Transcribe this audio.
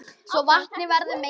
svo vatnið verður mengað.